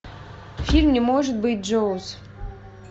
фильм не может быть джоуз